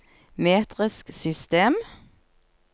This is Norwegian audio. metrisk system